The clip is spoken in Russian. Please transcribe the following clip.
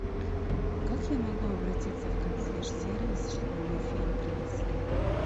как я могу обратиться в консьерж сервис чтобы мне фен принесли